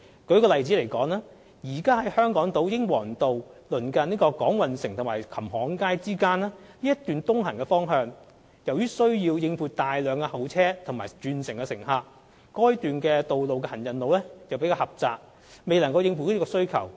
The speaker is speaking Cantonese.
舉例來說，現時在香港島英皇道近港運城及琴行街之間的一段東行方向，需要應付大量候車和轉車乘客，但該段道路的行人路較為狹窄，未能應付需求。